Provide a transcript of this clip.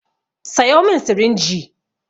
Sayo min sirinji!